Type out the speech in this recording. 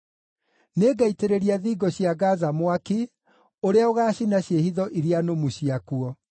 Nĩngaitĩrĩria thingo cia Gaza mwaki ũrĩa ũgaacina ciĩhitho iria nũmu ciakuo.